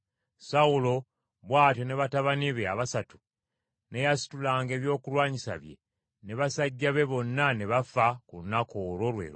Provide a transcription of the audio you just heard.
Sawulo bw’atyo, ne batabani be abasatu, n’eyasitulanga ebyokulwanyisa bye ne basajja be bonna ne bafa ku lunaku olwo lwe lumu.